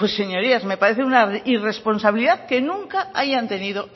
pues señorías me parece una irresponsabilidad que nunca hayan tenido